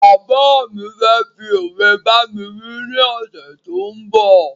Bàbá fẹ fí ọ̀we bámi wí ni ọsẹ tó ń bọ̀